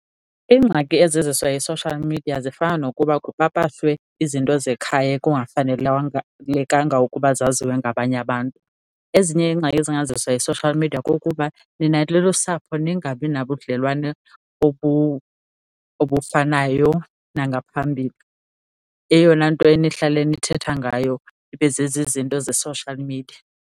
Ingxaki eziziswa yi-social media zifana nokuba kupapashwe izinto zekhaya ekungafanelwanga ukuba zaziwe ngabanye abantu. Ezinye iingxaki ezingaziswa yi-social media kukuba nina nilusapho ningabi nabudlelwane obufanayo nangaphambili, eyona nto enihlala nithetha ngayo ibe zezi zinto ze-social media.